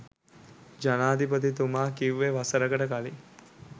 ජනාධිපතිතුමා කිව්වේ වසරකට කලින්